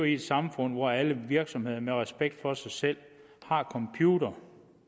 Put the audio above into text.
i et samfund hvor alle virksomheder med respekt for sig selv har computere